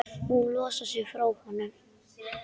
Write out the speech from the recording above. Hún losar sig frá honum.